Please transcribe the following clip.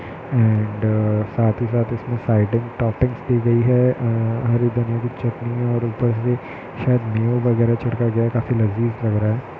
आँड साथ ही साथ इसमे साइड मे स्तरतूप भी दी गई हैं हरी धनी की चटनी हैं ओर ऊपर से शायद न्यू वगैर छिटक गया हैं काफी लजीज लग रहा हैं।